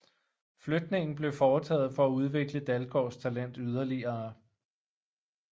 Flytningen blev foretaget for at udvikle Dalgaards talent yderligere